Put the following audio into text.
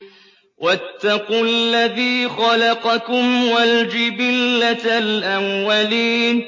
وَاتَّقُوا الَّذِي خَلَقَكُمْ وَالْجِبِلَّةَ الْأَوَّلِينَ